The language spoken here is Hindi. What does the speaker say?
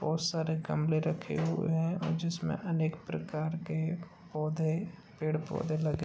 बहुत सारे गमले रखे हुए हैं और जिसमें अनेक प्रकार के पौधे पेड़ पौधे लगे --